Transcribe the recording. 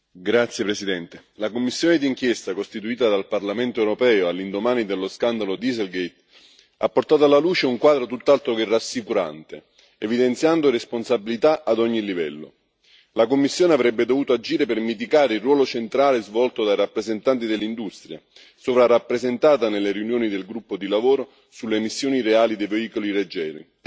Signor Presidente, onorevoli colleghi, la commissione d'inchiesta costituita dal Parlamento europeo all'indomani dello scandalo Dieselgate ha portato alla luce un quadro tutt'altro che rassicurante, evidenziando responsabilità ad ogni livello. La Commissione avrebbe dovuto agire per mitigare il ruolo centrale svolto dai rappresentanti dell'industria, sovrarappresentata nelle riunioni del gruppo di lavoro sulle emissioni reali dei veicoli leggeri.